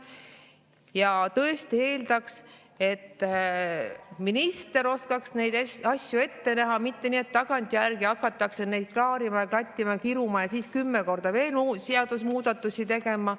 Ja tõesti eeldaks, et minister oskaks neid asju ette näha, mitte nii, et tagantjärgi hakatakse neid klaarima ja klattima ja kiruma ja siis kümme korda veel seadusemuudatusi tegema.